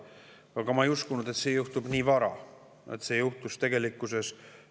Aga ma ei uskunud, et see juhtub nii vara, kui see tegelikkuses juhtus.